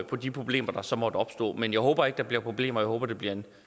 på de problemer der så måtte opstå men jeg håber ikke der bliver problemer jeg håber det bliver en